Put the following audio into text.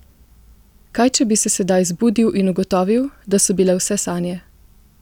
Kaj če bi se sedaj zbudil in ugotovil, da so bile vse sanje?